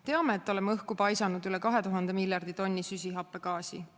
Teame, et oleme õhku paisanud üle 2000 miljardi tonni süsihappegaasi.